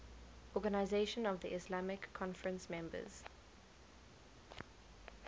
organisation of the islamic conference members